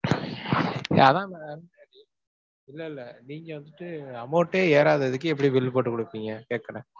அதான் ma'am இல்லல்ல நீங்க வந்துட்டு amount ஏ ஏறாததுக்கு எப்படி bill போட்டுக் கொடுப்பீங்க கேட்கறேன்.